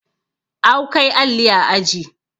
awkai alli a aji